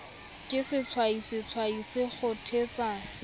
ke sehwai sehwai se kgothetsa